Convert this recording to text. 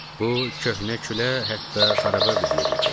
Bu köhnə, külə hətta xarabə bir yer idi.